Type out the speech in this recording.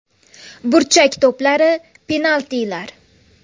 Burchak to‘plari, penaltilar.